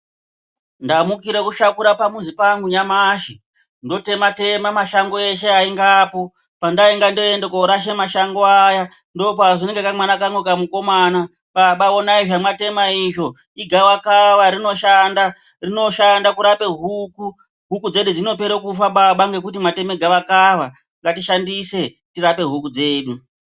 Ndamukire kushakura pamuzi pangu nyamashi, ndotema tema mashango eshe aingapo. Pandainga ndoende korasha mashango aya, ndopazonzi nekamwana kangu kamukomana,"Baba onai zvamwatemwa izvo, igavakava rinoshanda." Rinoshanda kurape huku. Huku dzedu dzinopere kufa baba ngekuti mwateme gavakava. Ngatishandise tirape huku dzedu.